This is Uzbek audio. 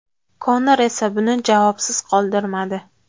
Konor esa buni javobsiz qoldirmadi .